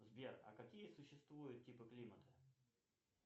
сбер а какие существуют типы климата